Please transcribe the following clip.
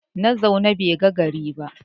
Na zaune bai ga gari ba